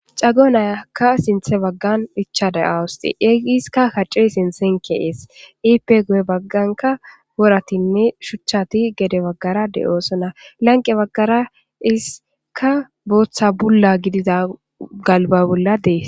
cago nayakka sinthe baggan icha daawuse egi iska kacce sintsenkeees iipe goye bagganka woratinne shuchchati gede baggara deoosona lanqe baggara iska booththa bulla gidida galba bolla dees